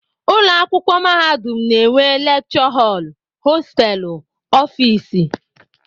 Ụlọakwụkwọ mahadum na-enwe lekchọ họl, hosteelụ, ọfịịsị